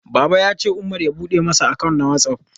Baba ya ce Umar ya bude masa account na WhatsApp.